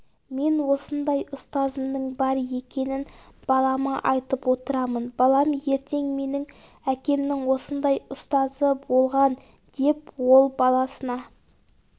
мен осындай ұстазымның бар екенін балама айтып отырамын балам ертең менің әкемнің осындай ұстазы болған деп ол баласына